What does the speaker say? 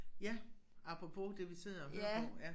Ja apropos det vi sidder og hører på ja